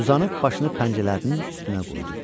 Uzanıb başını pəncələrinin üstünə qoydu.